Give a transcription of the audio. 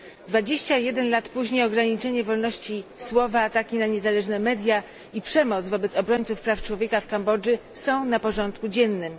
21 lat później ograniczenie wolności słowa, ataki na niezależne media i przemoc wobec obrońców praw człowieka w Kambodży są na porządku dziennym.